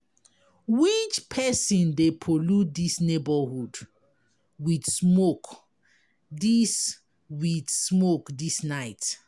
Which person dey pollute dis neighborhood wit smoke dis